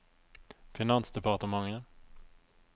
finansdepartementet